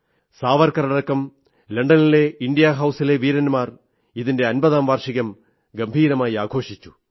സാവർക്കറടക്കം ലണ്ടനിലെ ഇന്ത്യാ ഹൌസിലെ വീരന്മാർ ഇതിന്റെ അമ്പതാം വാർഷികം ഗംഭീരമായി ആഘോഷിച്ചു